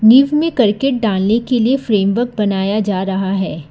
नींव में करके डालने के लिए फ्रेमवर्क बनाया जा रहा है।